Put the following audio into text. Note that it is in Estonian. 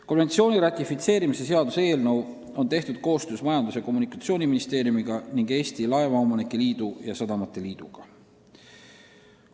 Konventsiooni ratifitseerimise seaduse eelnõu on tehtud koostöös Majandus- ja Kommunikatsiooniministeeriumiga ning Eesti Laevaomanike Liidu ja Eesti Sadamate Liiduga.